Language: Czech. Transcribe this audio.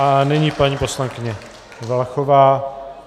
A nyní paní poslankyně Valachová.